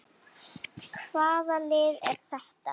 Hvaða lið er þetta?